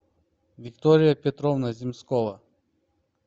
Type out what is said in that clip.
виктория петровна земскова